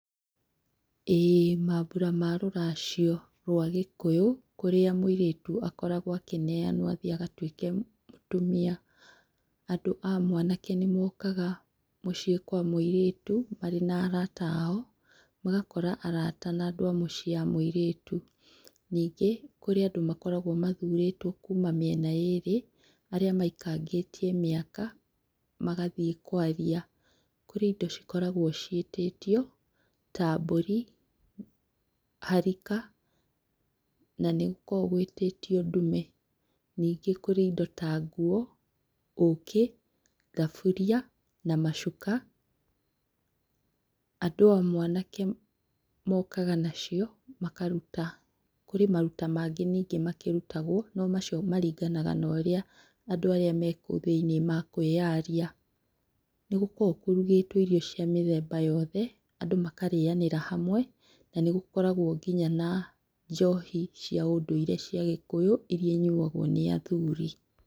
ĩĩ mambura ma rũracio rwa gĩkũyũ kũrĩa mũirĩtu akoragwo akĩneanwo agatũĩke mũtumia, andũ a mwanake nĩmokaga mũcĩĩ kwa mũirĩtu marĩ na arata ao magakora arata na andũ a mũcĩĩ a mũirĩtu ningĩ kũrĩ andũ makoragwo mathurĩtwo kuma mĩena yerĩ arĩa maikangĩtie mĩaka magathie kwaria, kũrĩ indo ikoragwo ciĩtĩtio ta mbũri, harika na nĩ gũkoragwo gwĩtĩtio ndume, ningĩ kũrĩ indo ta nguo, ũkĩ, thaburia na macuka. Andũ a mwanake mokaga nacio makaruta, kwĩ maruta mangĩ ningĩ makĩrutagwo no macio maringanaga norĩa andũ arĩa marĩ kũu thĩinĩ makũĩyaria. Nĩ gũkoragwo kũrugĩtwo irio cia mĩthemba yothe andũ makarĩyanĩra hamwe na nĩ gũkoragwo nginya na njohi cia ũndũire cia gĩkũyũ ĩrĩa ĩnyuagwo nĩ athuri.